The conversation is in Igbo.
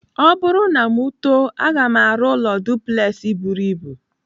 Ọ bụrụ na m too, aga m arụ ụlọ duplex buru ibu.